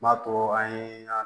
M'a to an ye